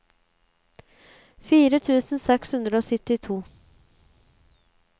fire tusen seks hundre og syttito